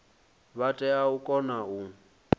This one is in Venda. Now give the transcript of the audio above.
vha tea u kona u